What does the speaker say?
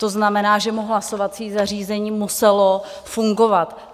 To znamená, že mu hlasovací zařízení muselo fungovat.